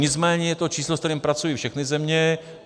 Nicméně je to číslo, se kterým pracují všechny země.